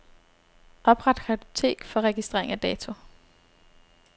Opret kartotek for registrering af dato.